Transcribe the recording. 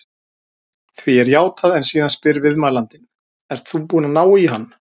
Því er játað en síðan spyr viðmælandinn: Ert þú búinn að ná á hann?